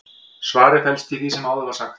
svarið felst í því sem áður var sagt